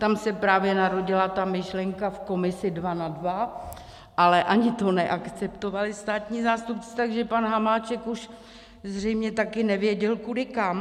Tam se právě narodila ta myšlenka v komisi dva na dva, ale ani to neakceptovali státní zástupci, takže pan Hamáček už zřejmě taky nevěděl kudy kam.